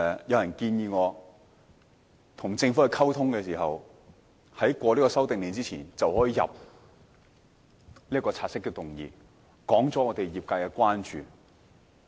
有人建議，我可在政府的《修訂令》獲得通過之前，先提交察悉議案，指出業界的關注。